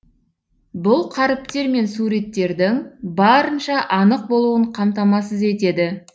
бұл қаріптер мен суреттердің барынша анық болуын қамтамасыз етеді